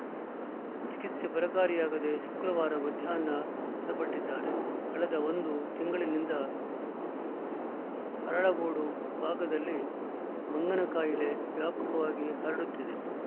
ಚಿಕಿತ್ಸೆ ಫಲಕಾರಿಯಾಗದೆ ಶುಕ್ರವಾರ ಮಧ್ಯಾಹ್ನ ಮೃತಪಟ್ಟಿದ್ದಾರೆ ಕಳೆದ ಒಂದು ತಿಂಗಳಿನಿಂದ ಅರಳಗೋಡು ಭಾಗದಲ್ಲಿ ಮಂಗನಕಾಯಿಲೆ ವ್ಯಾಪಕವಾಗಿ ಹರಡುತ್ತಿದೆ